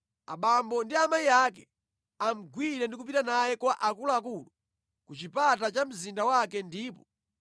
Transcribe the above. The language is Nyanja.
abambo ndi amayi ake amugwire ndi kupita naye kwa akuluakulu ku chipata cha mzinda wake ndipo